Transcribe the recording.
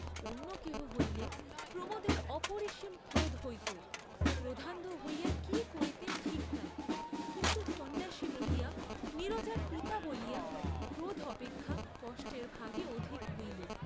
অন্য কেহ হইলে প্রমোদের অপরিসীম ক্রোধ হইত, ক্রোধান্ধ হইয়া কি করিতেন ঠিক নাই, কিন্তু সন্ন্যাসী বলিয়া, নীরজার পিতা বলিয়া, ক্রোধ অপেক্ষা কষ্টের ভাগই অধিক হইল।